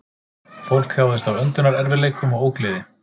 Fólkið þjáðist af öndunarerfiðleikum og ógleði